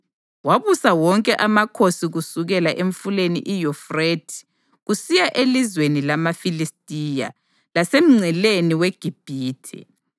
Wabusa wonke amakhosi kusukela emfuleni iYufrathe kusiya elizweni lamaFilistiya, lasemngceleni weGibhithe.